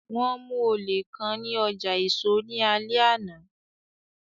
Wọn mu ole kan ni ọja eso ni alẹ ana